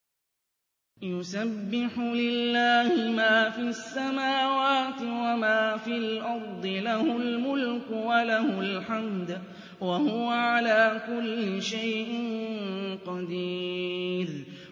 يُسَبِّحُ لِلَّهِ مَا فِي السَّمَاوَاتِ وَمَا فِي الْأَرْضِ ۖ لَهُ الْمُلْكُ وَلَهُ الْحَمْدُ ۖ وَهُوَ عَلَىٰ كُلِّ شَيْءٍ قَدِيرٌ